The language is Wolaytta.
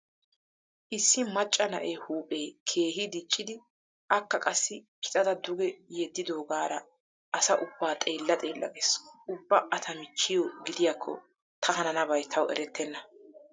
Issi macca na'ee huuphee keehi diccidi akka qassi pixada duge yeddaaggoogaara asa ubbaa xeella xeella gees. Ubba A ta michchiyo gidiyakko ta hananabay tawu erettenna.